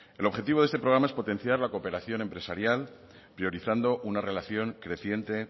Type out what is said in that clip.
el objetivo de este programa es potenciar la cooperación empresarial priorizando una relación creciente